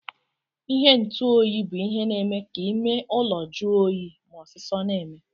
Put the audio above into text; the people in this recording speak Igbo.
Ihe ntụ oyi bu ihe na eme ka ime ụlọ jụọ oyi ma osisọ na eme.